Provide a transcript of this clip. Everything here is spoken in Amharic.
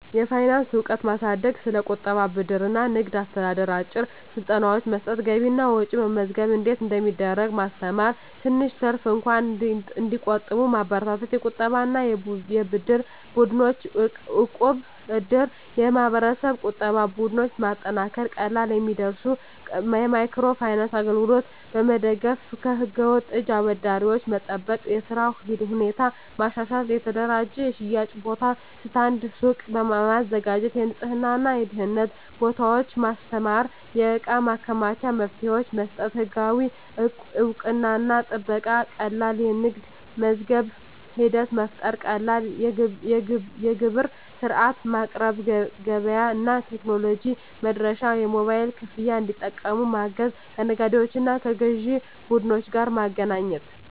የፋይናንስ እውቀት ማሳደግ ስለ ቁጠባ፣ ብድር እና ንግድ አስተዳደር አጭር ስልጠናዎች መስጠት የገቢና ወጪ መመዝገብ እንዴት እንደሚደረግ ማስተማር ትንሽ ትርፍ እንኳን እንዲቆጠብ መበረታታት የቁጠባና የብድር ቡድኖች (እቃብ/እድር ) የማህበረሰብ ቁጠባ ቡድኖች ማጠናከር ቀላል የሚደርሱ የማይክሮ ፋይናንስ አገልግሎቶች መደገፍ ከህገ-ወጥ እጅ አበዳሪዎች መጠበቅ የሥራ ሁኔታ ማሻሻል የተደራጀ የሽያጭ ቦታ (ስታንድ/ሱቅ) ማዘጋጀት የንፅህናና የደህንነት ደንቦች ማስተማር የእቃ ማከማቻ መፍትሄዎች መስጠት ህጋዊ እውቅናና ጥበቃ ቀላል የንግድ ምዝገባ ሂደት መፍጠር ቀላል የግብር ሥርዓት ማቅረብ ገበያ እና ቴክኖሎጂ መድረሻ የሞባይል ክፍያ እንዲጠቀሙ ማገዝ ከነጋዴዎችና ከግዥ ቡድኖች ጋር ማገናኘት